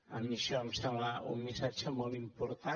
a mi això em sembla un missatge molt important